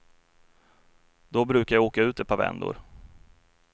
Då brukade jag åka ut ett par vändor.